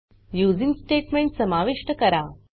using statement समाविष्ट करा